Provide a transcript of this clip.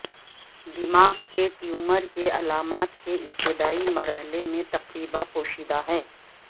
دماغ کے ٹیومر کے علامات کے ابتدائی مرحلے میں تقریبا پوشیدہ ہیں